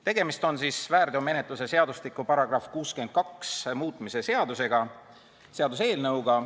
Tegemist on väärteomenetluse seadustiku § 62 muutmise eelnõuga.